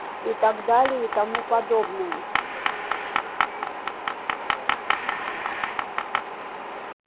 и так далее и тому подобное